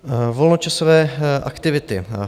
Volnočasové aktivity.